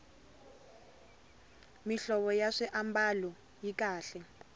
mihlovo ya swiambalo yi kahle